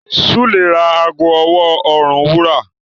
Sule rà àgọ ọwọ orùn wúrà.